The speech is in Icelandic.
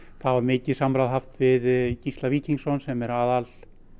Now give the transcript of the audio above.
var mikið samráð haft við Gísla Víkingsson sem er